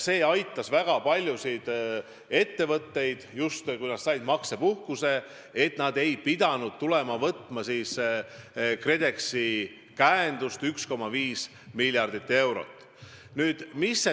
See aitas väga paljusid ettevõtteid, et nad said maksepuhkuse ega pidanud taotlema KredExi käendust, mida kokku on 1,5 miljardi euro ulatuses.